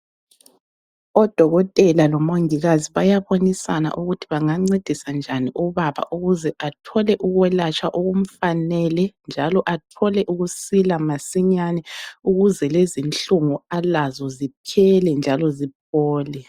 Odokotela lomongikazi bayabonisana ukuthi bangancedisa njani ubaba ukuze athole ukwelatshwa okumfanele njalo athole ukusila masinyane ukuze lezi inhlungu alazo, ziphele njalo ziphole.